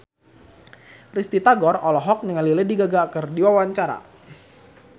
Risty Tagor olohok ningali Lady Gaga keur diwawancara